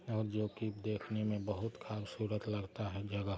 और जोके देखने मे बहुत खूबसूरत लगता है जगह |